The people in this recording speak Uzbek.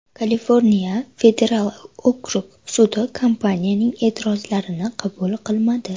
Kaliforniya federal okrug sudi kompaniyaning e’tirozlarini qabul qilmadi.